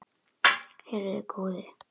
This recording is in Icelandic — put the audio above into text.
Heyrðu góði.